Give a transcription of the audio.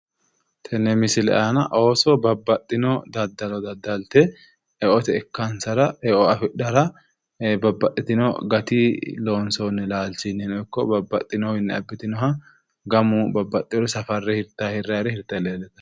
Tini misile aana ooso babbaxxino daddalo daddalte eote ikkansara eo afidhara babbaxiitino gatii koonsoonni laalchinnino ikko nbabbaxxinowiinni abbitinore safarre hirrayire hirtanni leellitanno